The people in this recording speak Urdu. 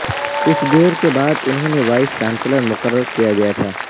کچھ دیر کے بعد انہوں نے وائس چانسلر مقرر کیا گیا تھا